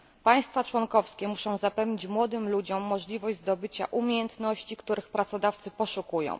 Państwa członkowskie muszą zapewnić młodym ludziom możliwość zdobycia umiejętności, których pracodawcy poszukują.